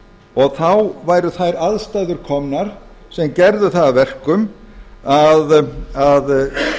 og þá væru þær aðstæður komnar sem gerðu það að verkum að